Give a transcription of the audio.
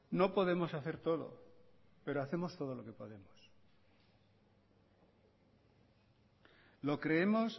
no podemos hacer todo pero hacemos todo lo que podemos lo creemos